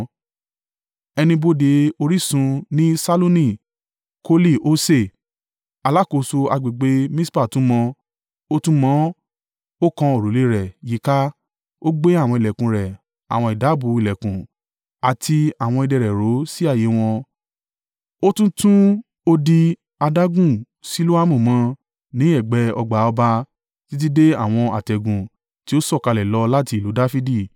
Ẹnu ibodè orísun ni Ṣalluni Koli-Hose, alákòóso agbègbè Mispa tún mọ. Ó tún ún mọ, ó kan òrùlé e rẹ̀ yíká, ó gbé àwọn ìlẹ̀kùn rẹ̀ àwọn ìdábùú ìlẹ̀kùn àti àwọn idẹ rẹ̀ ró sí ààyè wọn. Ó tún tún odi adágún Siloamu mọ, ní ẹ̀gbẹ́ ọgbà ọba, títí dé àwọn àtẹ̀gùn tí ó sọ̀kalẹ̀ lọ láti ìlú Dafidi.